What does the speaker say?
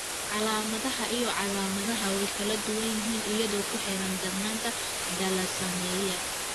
Calaamadaha iyo calaamadaha way kala duwan yihiin iyadoo ku xiran darnaanta thalassaemia.